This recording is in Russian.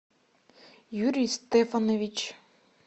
юрий стефанович